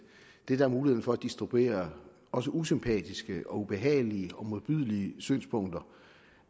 det er mulighed for at distribuere også usympatiske og ubehagelige og modbydelige synspunkter